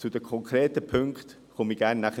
Zu den konkreten Punkten komme ich gerne nachher.